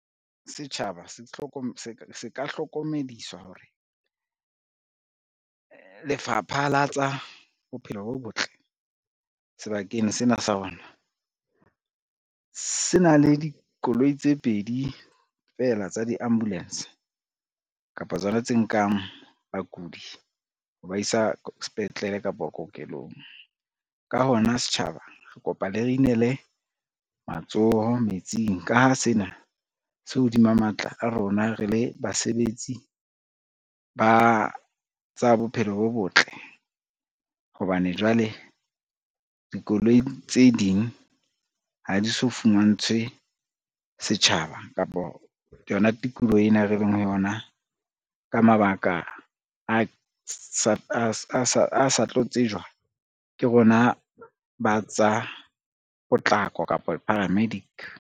Setjhaba se ka hlokomedisa hore, lefapha la tsa bophelo bo botle sebakeng sena sa rona, se na le dikoloi tse pedi fela tsa di-ambulance kapa tsona tse nkang bakudi ho ba isa sepetlele kapo kokelong. Ka hona setjhaba re kopa le re inele matsoho metsing ka ha sena se hodima matla a rona re le basebetsi ba tsa bophelo bo botle hobane, jwale dikoloi ke tse ding ha di so fumantshwe setjhaba kapa yona tikoloho ena re leng ho yona ka mabaka a sa tlo tsejwa ke rona, ba tsa potlako kapa paramedic.